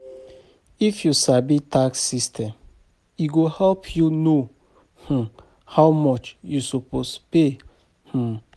If you sabi tax system, e go help you know um how much you suppose pay um.